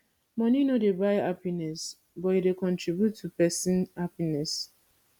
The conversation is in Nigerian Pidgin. money no dey buy happiness but e dey contribute to person happiness